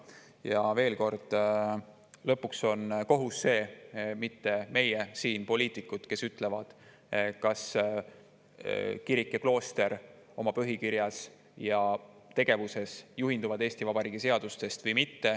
Ja veel kord: lõpuks on kohus see – need ei ole mitte meie siin, poliitikud –, kes ütleb, kas kirik ja klooster oma põhikirjas ja tegevuses juhinduvad Eesti Vabariigi seadustest või mitte.